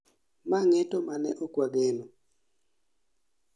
Ma ng'eto ma ne okwageno